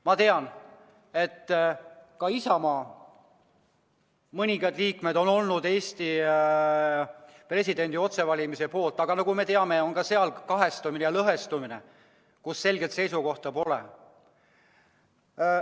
Ma tean, et ka mõned Isamaa liikmed on olnud Eesti presidendi otsevalimise poolt, aga nagu me teame, on sealgi lõhestumine, nii et selget seisukohta pole.